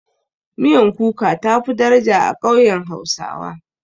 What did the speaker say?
Miyan kuka tafi daraja a ƙauyen hausawa.